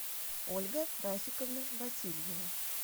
ольга рафиковна васильева